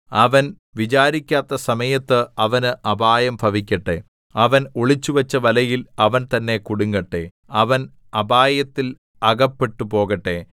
അവൻ വിചാരിക്കാത്ത സമയത്ത് അവന് അപായം ഭവിക്കട്ടെ അവൻ ഒളിച്ചുവച്ച വലയിൽ അവൻ തന്നെ കുടുങ്ങട്ടെ അവൻ അപായത്തിൽ അകപ്പെട്ടുപോകട്ടെ